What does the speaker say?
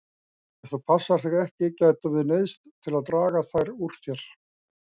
Ef þú passar þig ekki gætum við neyðst til að draga þær úr þér.